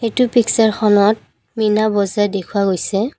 এইটো পিকচাৰখনত মীনা বজাৰ দেখুওৱা গৈছে।